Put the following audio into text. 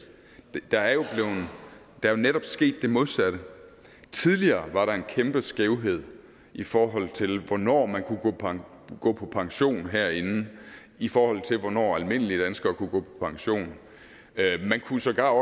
der er jo jo netop sket det modsatte tidligere var der en kæmpe skævhed i forhold til hvornår man kunne man kunne gå på pension herinde i forhold til hvornår almindelige danskere kunne gå på pension man kunne sågar